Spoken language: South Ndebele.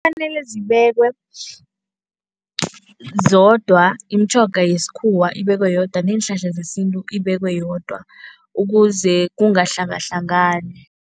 Kufanele zibekwe zodwa, imitjhoga yesikhuwa ibekwe yodwa neenhlahla zesintu ibekwe yodwa ukuze kungahlangahlangani.